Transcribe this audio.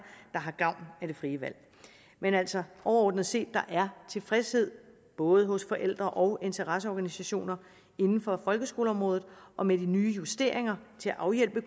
der har gavn af det frie valg men altså overordnet set er der tilfredshed både hos forældre og interesseorganisationer inden for folkeskoleområdet og med de nye justeringer til at afhjælpe